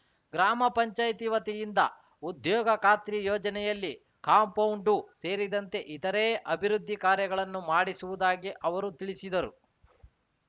ಗ್ರಾಮ ಪಂಚಾಯತಿ ವತಿಯಿಂದ ಉದ್ಯೋಗ ಖಾತ್ರಿ ಯೋಜನೆಯಲ್ಲಿ ಕಾಂಪೌಂಡು ಸೇರಿದಂತೆ ಇತರೇ ಅಭಿವೃದ್ಧಿ ಕಾರ್ಯಗಳನ್ನು ಮಾಡಿಸುವುದಾಗಿ ಅವರು ತಿಳಿಸಿದರು